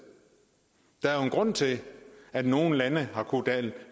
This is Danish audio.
der er jo en grund til at nogle lande har kunnet